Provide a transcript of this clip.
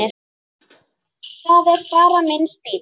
Það er bara minn stíll.